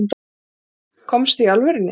Komstu. í alvörunni?